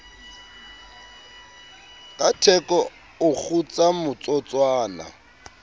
ka theko o kgutsa motsotswana